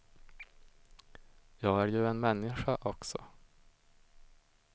Jag är ju en människa också.